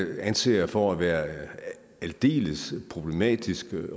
anser jeg for at være aldeles problematisk